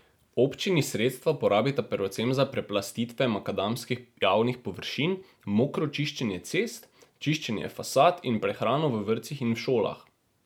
Občini sredstva porabita predvsem za preplastitve makadamskih javnih površin, mokro čiščenje cest, čiščenje fasad in prehrano v vrtcih in šolah.